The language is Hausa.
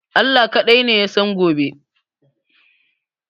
Allah ka dai ne masanin gobe